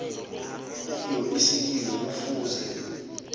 kiyo isililo kufuze